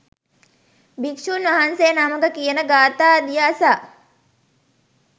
භික්ෂූන් වහන්සේ නමක කියන ගාථාදිය අසා